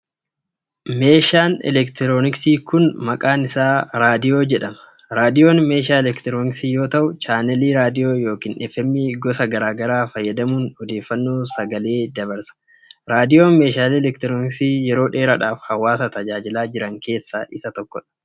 Meeshaaleen elektirooniksii kun, maqaan isaa reediyoo jedhama. Reediyoon meeshaa elektirooniksii yoo ta'u, chaanaalii reediyoo yookin FM gosa garaa garaa fayyadamuun odeeffannoo sagaleen dabarsa. Reediyoon meeshaalee elektirooniksii yeroo dheeraadhaaf hawaasa tajaajilaa jiran keessaa isa tokko.